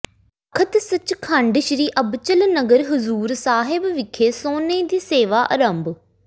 ਤਖਤ ਸਚਖੰਡ ਸ੍ਰੀ ਅਬਚਲ ਨਗਰ ਹਜ਼ੂਰ ਸਾਹਿਬ ਵਿਖੇ ਸੋਨੇ ਦੀ ਸੇਵਾ ਅਰੰਭ